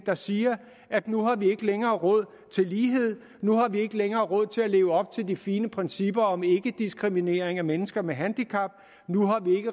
der siger at nu har vi ikke længere råd til lighed nu har vi ikke længere råd til at leve op til de fine principper om ikkediskriminering af mennesker med handicap nu